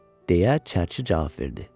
deyə çərçi cavab verdi.